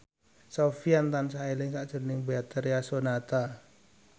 Sofyan tansah eling sakjroning Betharia Sonata